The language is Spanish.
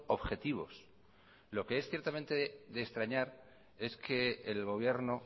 objetivos lo que es ciertamente de extrañar es que el gobierno